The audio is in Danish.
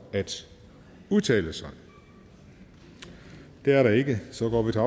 at udtale sig det er der ikke så går vi til